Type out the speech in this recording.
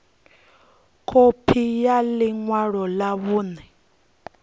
khophi ya ḽi ṅwalo ḽa vhuṋe